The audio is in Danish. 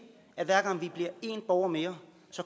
at hver gang vi bliver en borger mere